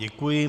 Děkuji.